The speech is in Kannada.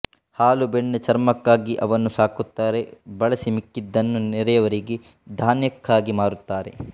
ಹಾಲು ಬೆಣ್ಣೆ ಚರ್ಮಕ್ಕಾಗಿ ಅವನ್ನು ಸಾಕುತ್ತಾರೆ ಬಳಸಿ ಮಿಕ್ಕಿದ್ದನ್ನು ನೆರೆಯವರಿಗೆ ಧಾನ್ಯಕ್ಕಾಗಿ ಮಾರುತ್ತಾರೆ